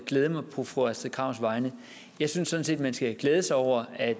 glæde mig på fru astrid krags vegne jeg synes sådan set man skal glæde sig over at